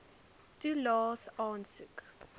toelaes aansoek